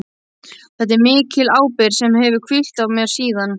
Þetta er mikil ábyrgð sem hefur hvílt á mér síðan.